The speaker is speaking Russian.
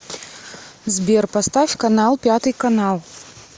сбер поставь канал пятый канал